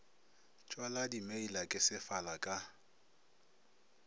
tšwala dimeila ke sefala ka